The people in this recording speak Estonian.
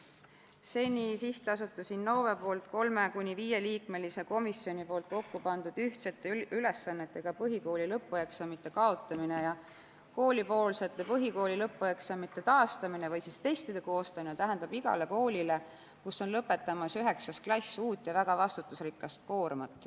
Seni Sihtasutuses Innove 3–5-liikmelise komisjoni poolt kokku pandud ühtsete ülesannetega põhikooli lõpueksamite kaotamine ja koolipoolsete põhikooli lõpueksamite taastamine või siis testide koostamine tähendab igale koolile, kus on lõpetamas 9. klass, uut ja väga vastutusrikast koormat.